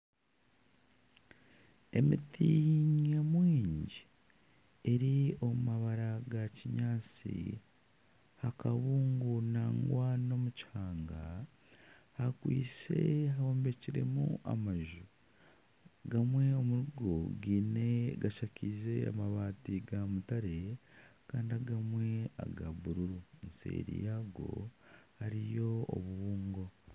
Emiti nyamwingi eri omu mabara ga kinyaatsi. Aha kabungo nangwa n'omukihanga hakwise hombekiremu amaju gamwe omuri go gashakiize amabaati ga mutare kandi agamwe aga bururu. Eseeri yaago hariyo obubungo.